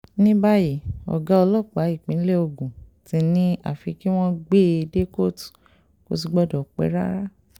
ní báyìígọ̀ ọlọ́pàá nípínlẹ̀ ogun ti ní àfi kí wọ́n gbé e dé kóòtù kó sì gbọ́dọ̀ pẹ́ rárá